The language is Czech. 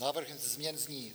Návrh změn zní: